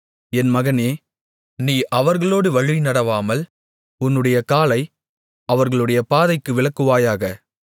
என் மகனே நீ அவர்களோடு வழிநடவாமல் உன்னுடைய காலை அவர்களுடைய பாதைக்கு விலக்குவாயாக